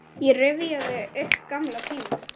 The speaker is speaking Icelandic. Ég rifjaði upp gamla tíma.